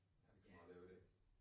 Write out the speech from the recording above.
Ja